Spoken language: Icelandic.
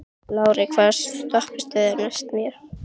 Lárey, hvaða stoppistöð er næst mér?